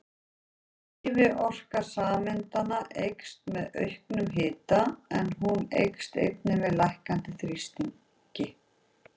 Hreyfiorka sameindanna eykst með auknum hita en hún eykst einnig með lækkandi þrýstingi.